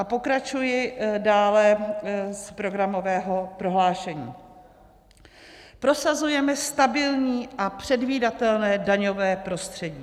A pokračuji dále z programového prohlášení: Prosazujeme stabilní a předvídatelné daňové prostředí.